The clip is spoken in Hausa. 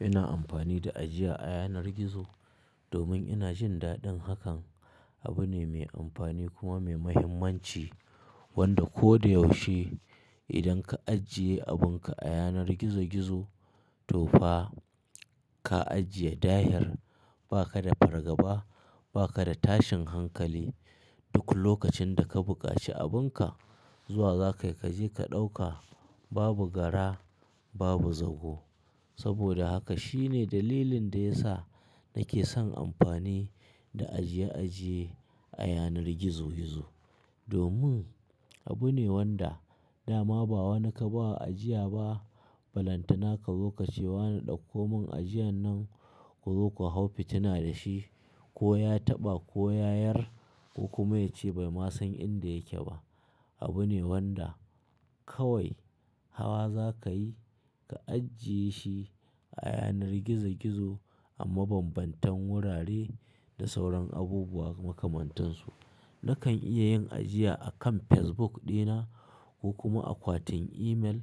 Ina amfani da ajiya a yanar gizo domin ina jin daɗin hakan. Abu ne mai amfani kuma mai muhimmanci wanda ko da yaushe idan ka ajiye abunka a yanar gizo-gizo, to fa ka ajiye dahir. Ba ka da fargaba, ba ka da tashin hankali. Duk lokacin da ka bukaci abunka, zuwa zakai, za ka ɗauka. Babu gara, babu zago. Saboda haka shine dalilin da ya sa nake son amfani da ajiye-ajiye a yanar gizo-gizo. Domin abu ne wanda dama ba wanda ka ba wa ajiya ba, balantana kazo kace wa ne ɗauko mun ajiyan nan. Ku zo ku hau fitina da shi, ko ya taɓa ko ya yar ko kuma ya ce bai ma san inda yake ba. Abu ne wanda kawai hawa za ka yi, ka ajiye shi a yanar gizo-gizo amma bambantan wurare da sauran abubuwa makamantan su. Nakan iya yin ajiya a kan Facebook dina ko kuma akwatin email